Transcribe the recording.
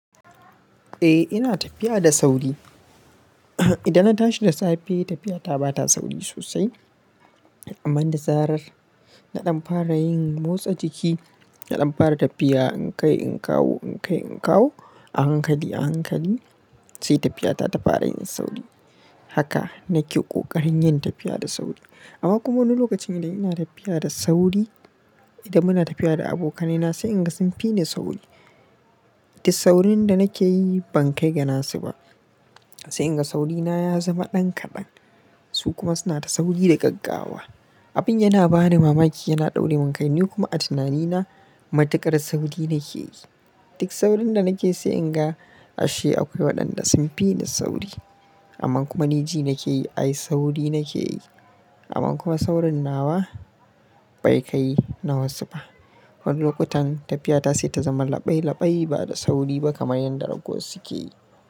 Eh ina tafiya da sauri. Idan na tashi da safe tafiya ta ba ta sauri sosai amma da zarar na ɗan fara yin motsa jiki, na ɗan fara tafiya in kai in kawo in kai in kawo a hankali a hankali sai tafiya ta ta fara yin sauri. Haka nake ƙoƙarin yin tafiya da sauri. Amma kuma wani lokacin idan ina tafiya da sauri, idan muna tafiya da abokaina sai inga sun fi ni sauri. Duk saurin da nake yi ban kai ga nasu ba. Sai inga sauri na ya zama ɗan kaɗan su kuma suna ta sauri da gaggawa. Abin yana bani mamaki yana ɗaure mun kai, ni kuma a tunanina matuƙar sauri nake yi. Duk saurin da nakeyi sai inga ashe akwai waɗanda sun fi ni sauri. Amma kuma ni ji nake yi ai sauri nake yi amma kuma saurin nawa bai kai na wasu ba. Wani lokutan tafiya ta sai ta zama laɓai laɓai ba da sauri ba kamar yadda ragos suke yi.